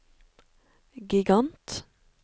gigant